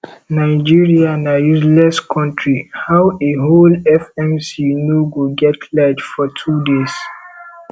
nigeria na useless country how a whole fmc no go get light for two days